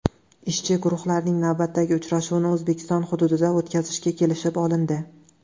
Ishchi guruhlarning navbatdagi uchrashuvini O‘zbekiston hududida o‘tkazishga kelishib olindi.